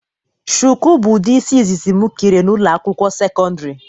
Shụkụ bụ ụdị isi ịzịzị m kere na ụlọ akwụkwọ sekọndrị.